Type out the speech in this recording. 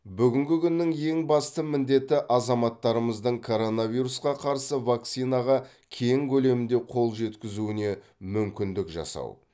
бүгінгі күннің ең басты міндеті азаматтарымыздың коронавирусқа қарсы вакцинаға кең көлемде қол жеткізуіне мүмкіндік жасау